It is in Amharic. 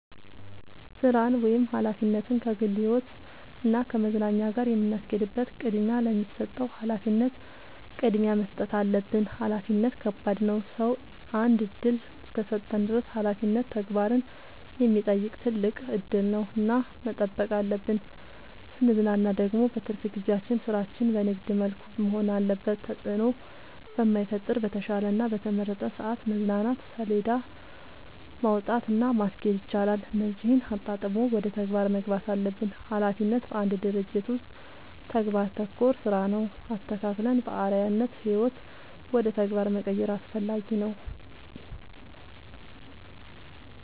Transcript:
ስራን ወይም ሀላፊነትን ከግል ህይወት እና ከመዝናኛ ጋር የምናስኬድበት ቅድሚያ ለሚሰጠው ሀላፊነት ቅድሚያ መስጠት አለብን። ሀላፊነት ከባድ ነው ሰው አንድ እድል እስከሰጠን ድረስ ሀላፊነት ተግባርን የሚጠይቅ ትልቅ እድል ነው እና መጠበቅ አለብን። ስንዝናና ደግሞ በትርፍ ጊዜያችን ስራችን በንግድ መልኩ መሆን አለበት ተጽዕኖ በማይፈጥር በተሻለ እና በተመረጠ ሰዐት መዝናናት ሴለዳ ማውጣት እና ማስኬድ ይቻላል እነዚህን አጣጥሞ ወደ ተግባር መግባት አለብን። ሀላፊነት በአንድ ድርጅት ውስጥ ተግባር ተኮር ስራ ነው። አስተካክለን በአርዐያነት ህይወት ውደ ተግባር መቀየር አስፈላጊ ነው።